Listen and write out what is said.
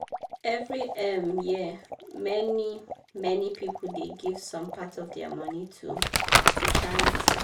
every um year many-many people dey give some part of dia money to to charity.